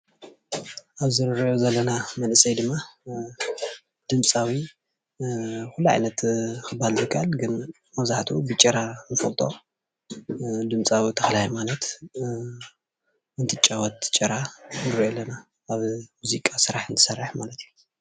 ኣብዚ እንሪኦ ዘለና መንእሰይ ድማ ድምፃዊ ኩሉ ዓይነት ክባሃል ዝከኣል ግን መብዛሕትኡ ብጭራ እንፈልጦ ድምፃዊ ተክለሃይማኖት እንትጫወት ጭራ ንሪኢ ኣለና ኣብ ሙዚቃ ስራሕ እንትሰርሕ ማለትእዩ፡፡